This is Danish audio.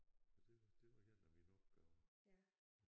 Og det var det var en af mine opgaver